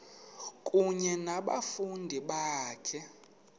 kunye nabafundi bakho